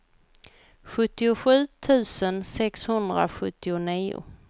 sjuttiosju tusen sexhundrasjuttionio